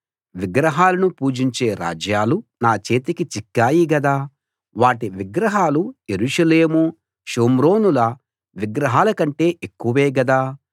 విగ్రహాలను పూజించే రాజ్యాలు నా చేతికి చిక్కాయి గదా వాటి విగ్రహాలు యెరూషలేము షోమ్రోనుల విగ్రహాల కంటే ఎక్కువే గదా